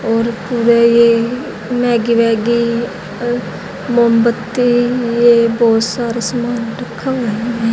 और पूरे येह मैगी वैगी मोमबत्ती येह बहुत सारे सामान रखा हुआ है।